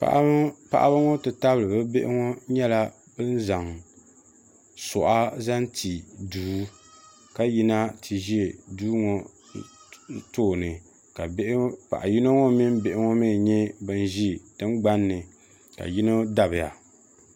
paɣaba ŋɔ ti tabili bi bihi ŋɔ nyɛla bin zaŋ suɣa zaŋ ti duu ka yina ti ʒi duu ŋɔ tooni ka paɣa yino ŋɔ mii mini bihi ŋɔ nyɛ bin ʒi tingbanni ka yinɔ dabiya